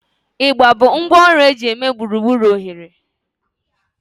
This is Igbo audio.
Igba bụ ngwá ọrụ eji eme gburugburu oghere